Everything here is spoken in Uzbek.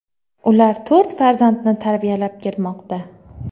Ular to‘rt farzandni tarbiyalab kelmoqda.